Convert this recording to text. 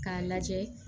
K'a lajɛ